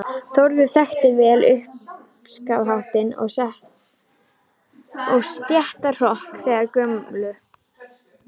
Þórður þekkti vel uppskafningshátt og stéttahroka þeirrar gömlu